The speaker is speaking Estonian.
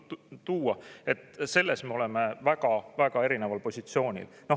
me oleme väga-väga erineval positsioonil.